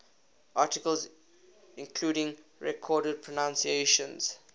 articles including recorded pronunciations